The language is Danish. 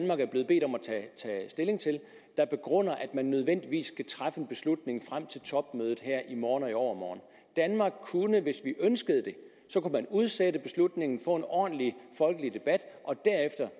tage stilling til der begrunder at man nødvendigvis skal træffe en beslutning frem til topmødet her i morgen og i overmorgen danmark kunne hvis vi ønskede det udsætte beslutningen få en ordentlig folkelig debat og derefter